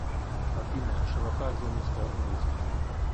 афина широта гомельская область